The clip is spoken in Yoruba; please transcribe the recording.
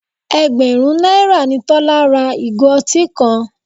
Ẹgbẹ̀rún náírà ni Tọ́lá ra ìgò ọtí kan.